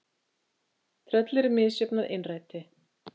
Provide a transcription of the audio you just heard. . Tröll eru misjöfn að innræti.